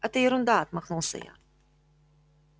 это ерунда отмахнулся я